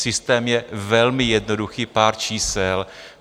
Systém je velmi jednoduchý, pár čísel.